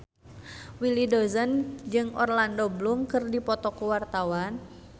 Willy Dozan jeung Orlando Bloom keur dipoto ku wartawan